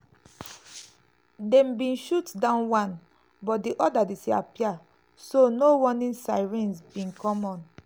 dem bin shoot down one but di oda disappear so no warning sirens bin come on.